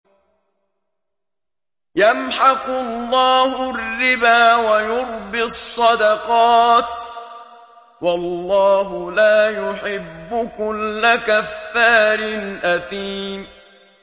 يَمْحَقُ اللَّهُ الرِّبَا وَيُرْبِي الصَّدَقَاتِ ۗ وَاللَّهُ لَا يُحِبُّ كُلَّ كَفَّارٍ أَثِيمٍ